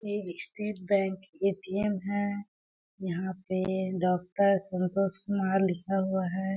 ये state bank ATM. है यहाँ पे डॉक्टर संतोष कुमार लिखा हुआ हैं ।